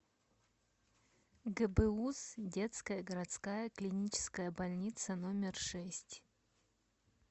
гбуз детская городская клиническая больница номер шесть